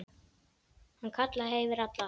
Hann kallaði yfir alla.